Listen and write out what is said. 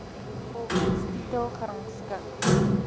volgens titel gerangskik